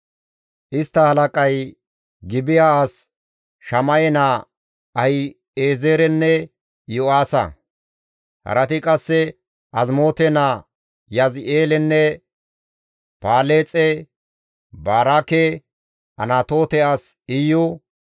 Istta halaqay Gibi7a as Shama7e naa Ahi7ezeerenne Iyo7aasa. Harati qasse Azimoote naa Yizi7eelenne Paleexe, Baraake, Anatoote as Iyu,